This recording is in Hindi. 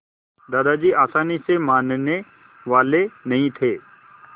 दादाजी आसानी से मानने वाले नहीं थे